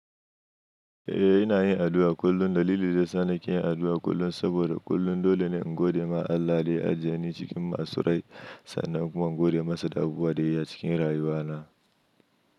Eh ina yin addu'a kullum. Dalili dayasa nake yin addu'a kullum saboda kullum dole ne in gode ma Allah da ya ajje ni cikin masun rai sannan kuma in gode masa da abubuwan da ya yi a cikin rayuwa na.